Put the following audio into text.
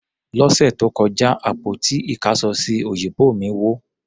Lọ́sẹ̀ tó kọjá, àpótí ìkáṣọsí òyìnbó mí wó.